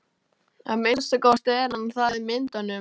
Að minnsta kosti er hann það í myndunum.